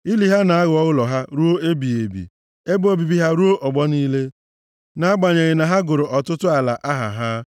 Ili ha na-aghọ ụlọ ha ruo ebighị ebi, ebe obibi ha ruo ọgbọ niile nʼagbanyeghị na ha gụrụ ọtụtụ ala aha ha.